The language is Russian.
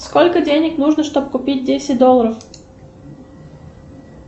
сколько денег нужно чтоб купить десять долларов